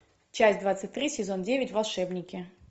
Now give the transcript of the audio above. часть двадцать три сезон девять волшебники